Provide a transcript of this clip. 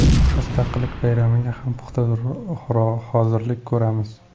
Mustaqillik bayramiga ham puxta hozirlik ko‘ramiz.